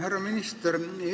Härra minister!